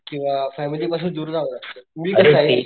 किंवा फॅमिली पासून दूर जावं लागत मी कसाय,